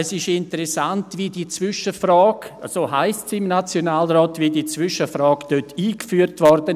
Es ist interessant, wie die «Zwischenfrage», so heisst sie im Nationalrat, dort eingeführt wurde.